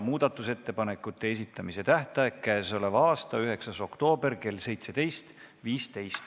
Muudatusettepanekute esitamise tähtaeg on k.a 9. oktoober kell 17.15.